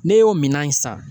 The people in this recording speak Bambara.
Ne y'o minan in san